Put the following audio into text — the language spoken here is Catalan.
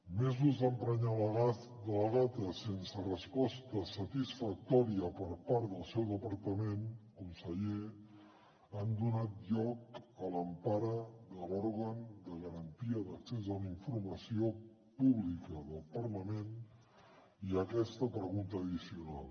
mesos d’emprenyar la gata sense resposta satisfactòria per part del seu departament conseller han donat lloc a l’empara de l’òrgan de garantia d’accés a la informació pública del parlament i a aquesta pregunta addicional